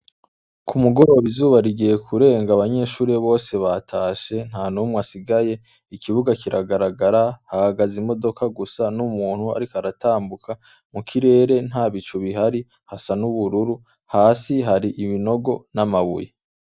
Kumugoroba izuba rigiye kurenga abanyeshure bose batashe ntanumw’asigaye, Ikibuga kiragaragara, hahagaz’imodoka gusa n’umuntu arikw’aratambuka, mukirere ntabicu bihari hasa n’ubururu, hasi hari ibinogo n’amabuye.